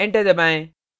enter दबाएं